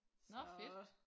Så